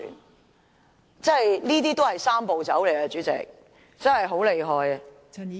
代理主席，這種也是"三步走"，真的很厲害......